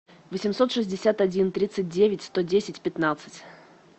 восемьсот шестьдесят один тридцать девять сто десять пятнадцать